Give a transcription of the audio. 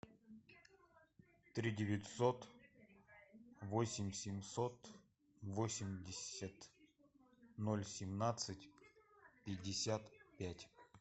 три девятьсот восемь семьсот восемьдесят ноль семнадцать пятьдесят пять